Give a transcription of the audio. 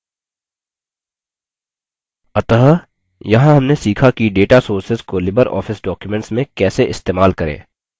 अतः यहाँ हमने सीखा कि data sources को libreoffice documents में कैसे इस्तेमाल करें